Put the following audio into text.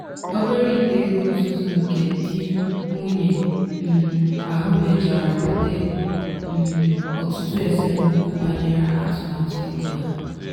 obere ite ego nzuzo nke di nwunye um ahụ mechara bute um ọtụtụ esemokwu banyere atụmatụ ego ha.